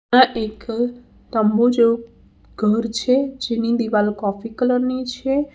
આ એક ઘર તંબુ જેવું ઘર છે જેની દિવાલ કોફી કલર ની છે.